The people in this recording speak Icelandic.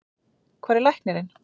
Hvar er læknirinn?